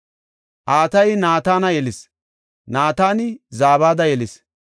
Atayi Naatana yelis; Naatani Zabada yelis;